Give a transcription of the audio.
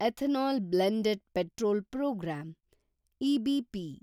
ethanol blend petrol programme (EBP)